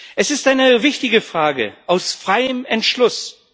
Es ist eine wichtige Frage aus freiem Entschluss?